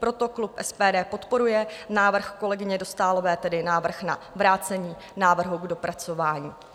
Proto klub SPD podporuje návrh kolegyně Dostálové, tedy návrh na vrácení návrhu k dopracování.